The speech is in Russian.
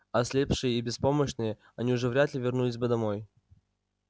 ослепшие и беспомощные они уже вряд ли вернулись бы домой